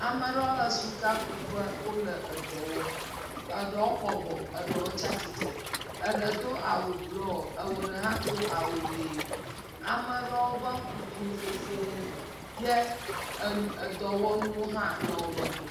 Ame aɖewo le sikakuƒe le dɔ wɔm, eɖewo tsitsre eye ɖewo bɔbɔ, eɖe do awu blɔɔ eɖe hã do awu ʋi, ame aɖewo be ŋku biã sesie ye enu edɔwɔnuwo hã le wo si.